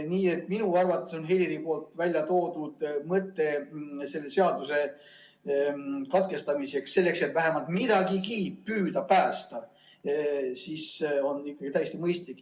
Nii et minu arvates on Heliri väljatoodud mõte selle seaduseelnõu lugemine katkestada, selleks et vähemalt midagigi püüda päästa, ikkagi täiesti mõistlik.